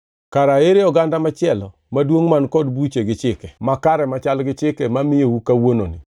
Kara ere oganda machielo maduongʼ man kod buche gi chike makare machal gi chike mamiyou kawuononi?